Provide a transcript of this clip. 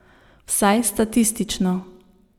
Vsaj statistično.